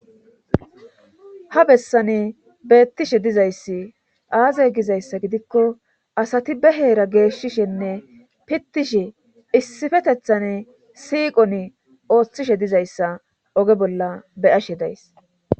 Ha bessane beettishe dizayssi aazay gizayssa gidikko asati be heera geeshshishenne pittishe issifetethan siiqon ooththishe dizayssa oge bolla be'ashe days.